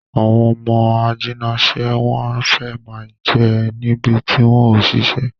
Àwọn ọmọ ajínasè, wọ́n fẹ́ má ń jẹ níbi tí wọ́n ò ṣe sí